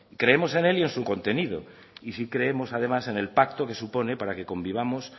creemos en él y en su contenido y sí creemos además en el pacto que supone para que convivamos